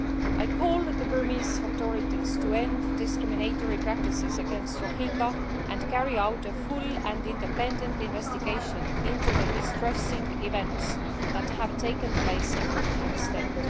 I call on the Burmese authorities to end discriminatory practices against Rohingya and to carry out a full and independent investigation into the distressing events that have taken place in Rakhine State.